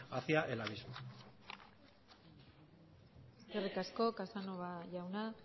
hacia el abismo eskerrik asko casanova jauna